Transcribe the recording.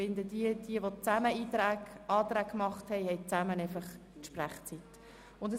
Jene, welche gemeinsame Anträge eingereicht haben, teilen sich die Redezeit.